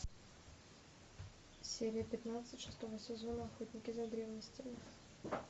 серия пятнадцать шестого сезона охотники за древностями